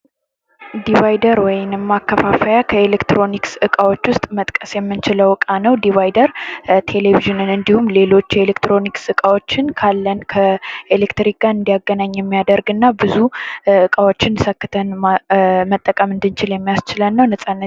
ዲቫይደር ወይንም ማከፋፈያ ከኤሌክትሮኒክስ እቃዎችን ውስጥ መጥቀስ የምንችለው ዕቃ ነው። ዲቫይደር ቴሌቪዥንን እንዲሁም ሌሎች የኤሌክትሮኒክስ እቃዎችን ካለን ከኤሌክትክ ጋር እንዲያገናኝ የሚያደርግና ብዙ እቃዎችን ሰክተን መጠቀም እንዲንችል የሚያስችለን እና ነፃነት